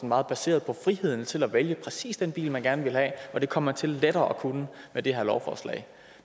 meget baseret på friheden til at vælge præcis den bil man gerne ville have og det kom man til lettere at kunne med det her lovforslag